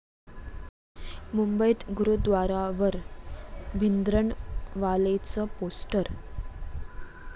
मुंबईत गुरूद्वारावर भिंद्रनवालेचं पोस्टर!